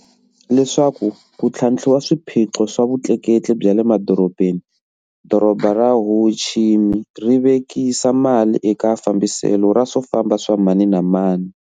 Leswaku ku tlhantlhiwa swiphiqo swa vutleketli bya le madorobeni, Doroba ra Ho Chi Minh ri vekisa mali eka fambiselo ra swo famba swa mani na mani.